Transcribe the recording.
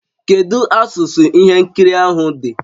Kedu asụsụ ihe nkiri ahụ dị?